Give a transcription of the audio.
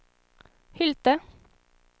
Hylte